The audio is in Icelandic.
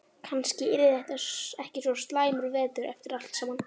Kannski yrði þetta ekki svo slæmur vetur eftir allt saman.